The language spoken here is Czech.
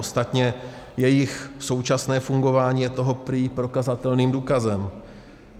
Ostatně jejich současné fungování je toho prý prokazatelným důkazem.